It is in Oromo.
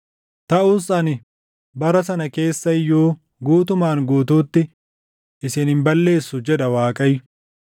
“Taʼus ani bara sana keessa iyyuu guutumaan guutuutti isin hin balleessu” jedha Waaqayyo.